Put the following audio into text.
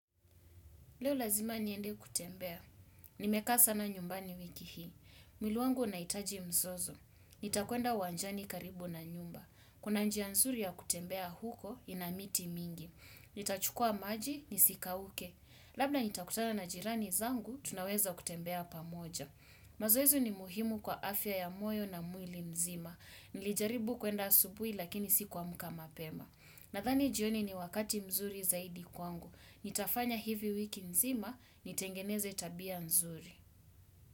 Leo lazima niende kutembea. Nimekasa na nyumbani wiki hii. Mwili wangu unahitaji mzozo. Nitakuenda uwanjani karibu na nyumba. Kuna njia nzuri ya kutembea huko ina miti mingi. Nitachukua maji, nisikauke. Labda nitakutana na jirani zangu, tunaweza kutembea pamoja. Mazoezi ni muhimu kwa afya ya moyo na mwili mzima. Nilijaribu kuenda asubuhi lakini sikuamka mapema. Nadhani jioni ni wakati mzuri zaidi kwangu. Nitafanya hivi wiki nzima, nitengeneze tabia nzuri.